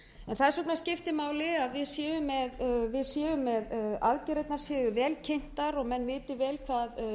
þess vegna skiptir máli að aðgerðirnar séu vel kynntar og við vitum vel hvað verið er að